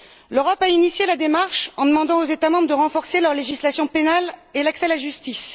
L'Europe a initié la démarche en demandant aux États membres de renforcer leur législation pénale et l'accès à la justice.